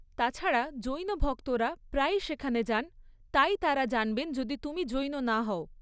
তাছাড়া, জৈন ভক্তরা প্রায়ই সেখানে যান, তাই তাঁরা জানবেন যদি তুমি জৈন না হও।